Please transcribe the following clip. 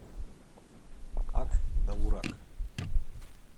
ак довурак